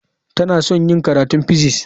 Tana son yin karatun physics.